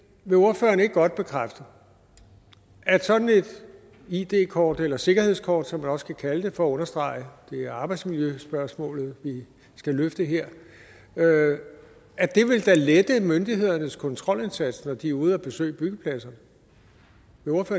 vil ordføreren ikke godt bekræfte at sådan et id kort eller sikkerhedskort som man også kan kalde det for at understrege at det er arbejdsmiljøspørgsmålet vi skal løfte her da vil lette myndighedernes kontrolindsats når de er ude at besøge byggepladser